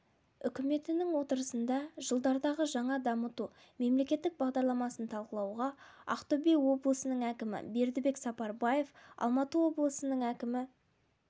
үкіметінің отырысында жылдардағы жаңа дамыту мемлекеттік бағдарламасын талқылауға ақтөбе облысының әкімі бердібек сапарбаев алматы облысының әкімі